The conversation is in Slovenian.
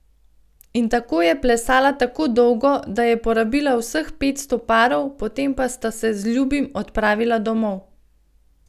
In tako je plesala tako dolgo, da je porabila vseh petsto parov, potem pa sta se z ljubim odpravila domov.